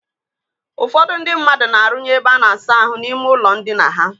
Ụfọdụ ndị mmadụ na-arụnye ebe a na-asa ahụ n'ime ụlọ ndina ha.